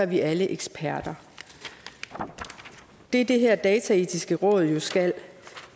vi alle eksperter det det her dataetiske råd jo skal